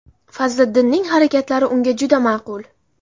Fazliddinning harakatlari unga juda ma’qul.